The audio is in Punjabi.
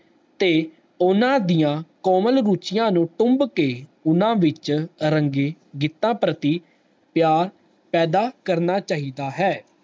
ਤੇ ਓਹਨਾ ਦੀਆਂ common ਰੁਚੀਆਂ ਨੂੰ ਸੁਨ ਕੇ ਊਨਾ ਵਿੱਚੋ ਗੀਤ ਪ੍ਰਤੀ ਪਿਆਰ ਪੈਦਾ ਕਰਨਾ ਚਾਹੀਦਾ ਹੈ